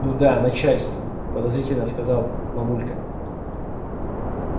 ну да начальство подозрительно сказала мамулька